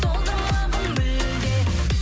солдырмағын мүлде